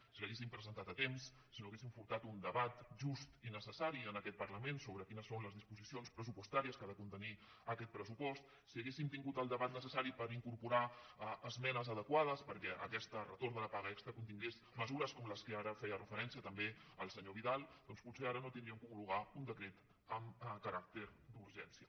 si l’haguessin presentat a temps si no hagues·sin furtat un debat just i necessari en aquest parlament sobre quines són les disposicions pressupostàries que ha de contenir aquest pressupost si haguéssim tingut el debat necessari per incorporar esmenes adequades perquè aquest retorn de la paga extra contingués me·sures com les que ara feia referència també el senyor vidal doncs potser ara no hauríem d’homologar un decret amb caràcter d’urgència